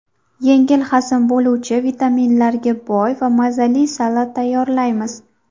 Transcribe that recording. Yengil hazm bo‘luvchi, vitaminlarga boy va mazali salat tayyorlaymiz.